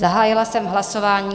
Zahájila jsem hlasování.